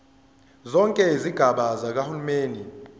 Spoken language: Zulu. zonke izigaba zikahulumeni